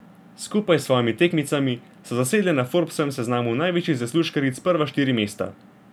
Skupaj s svojimi tekmicami so zasedle na Forbsovem seznamu največjih zaslužkaric prva štiri mesta.